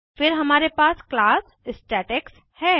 फिर हमारे पास क्लास स्टेटेक्स है